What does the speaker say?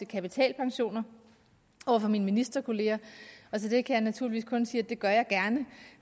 kapitalpensioner over for mine ministerkolleger og til det kan jeg naturligvis kun sige at det gør jeg gerne